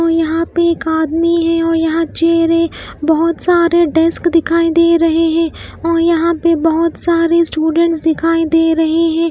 और यहाँ पे एक आदमी है और यहाँ चेयर है बहुत सारे डेस्क दिखाई दे रहे हैं और यहाँ पे बहुत सारे स्टूडेंट्स दिखाई दे रहे हैं।